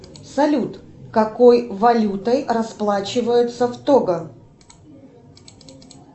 салют какой валютой расплачиваются в того